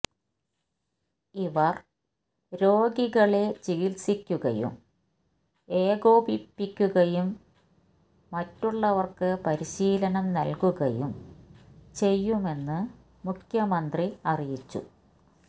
ഇവര് രോഗികളെ ചികിത്സിക്കുകയും ഏകോപിപ്പിക്കുകയും മറ്റുള്ളവര്ക്ക് പരിശീലനം നല്കുകയും ചെയ്യുമെന്ന് മുഖ്യമന്ത്രി അറിയിച്ചു